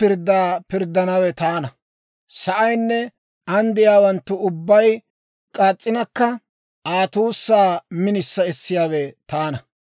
Sa'aynne an de'iyaawanttu ubbay k'aas's'inakka, Aa tuusaa minisa essiyaawe taana.